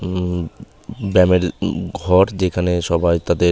উমম ব্যামের ঘর যেখানে সবাই তাদের--